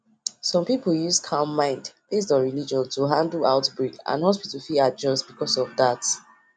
based on wetin um their religion um their religion talk media shout fit make people um panic and no quick go hospital